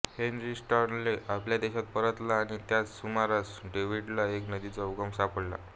Henry Stanley आपल्या देशाला परतला आणि त्याच सुमारास डेव्हिडला एक नदीचा उगम सापडला